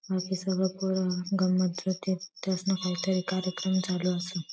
तेस्ना काही तरी कार्यक्रम चालू असल.